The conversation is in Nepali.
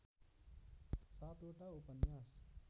सातवटा उपन्यास